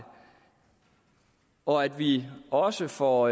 og at vi også får